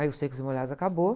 Aí o Secos e Molhados acabou.